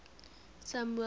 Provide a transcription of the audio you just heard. samuel's